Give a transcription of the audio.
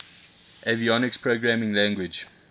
avionics programming language